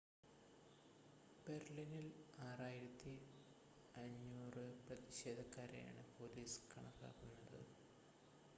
ബെർലിനിൽ 6,500 പ്രതിഷേധക്കാരെയാണ് പോലീസ് കണക്കാക്കുന്നത്